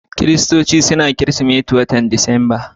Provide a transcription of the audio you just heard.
Kiristoci suna bikin Kiristimeti a'watan Disamba.